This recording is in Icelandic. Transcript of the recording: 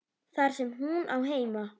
Þar sem hún á heima.